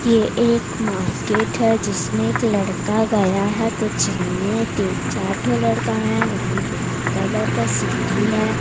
ये एक मार्केट है जिसमें एक लड़का गया है कुछ लेने तीन चार ठो लड़का है वहां ब्लैक कलर का सीढ़ी हैं।